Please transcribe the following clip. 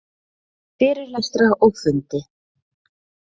Fyrirlestra og fundi.